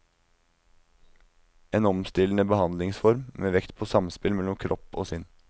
En omstillende behandlingsform, med vekt på samspill mellom kropp og sinn.